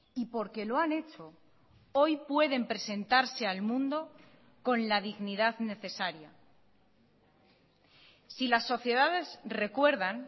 y porque lo han hecho hoy pueden presentarse al mundo con la dignidad necesaria si las sociedades recuerdan